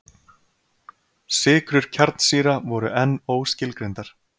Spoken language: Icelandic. Sykrur kjarnsýra voru enn óskilgreindar.